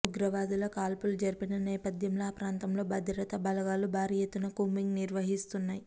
ఉగ్రవాదుల కాల్పులు జరిపిన నేపథ్యంలో ఆ ప్రాంతంలో భద్రతా బలగాలు భారీ ఎత్తున కూంబింగ్ నిర్వహిస్తున్నాయి